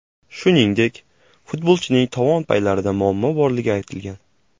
Shuningdek, futbolchining tovon paylarida muammo borligi aytilgan.